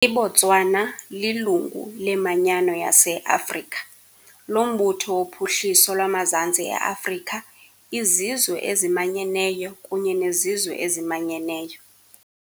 IBotswana lilungu leManyano yase- Afrika, loMbutho woPhuhliso lwamaZantsi e-Afrika, iZizwe eziManyeneyo kunye neZizwe eziManyeneyo .